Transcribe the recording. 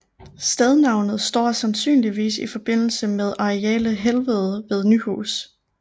Stednavnet står sandynligvis i forbindelse med arealet Helvede ved Nyhus